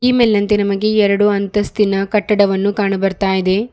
ಈ ಮೇಲಿನಂತೆ ನಮಗೆ ಎರಡು ಅಂತಸ್ತಿನ ಕಟ್ಟಡವನ್ನು ಕಾಣು ಬರ್ತಾ ಇದೆ.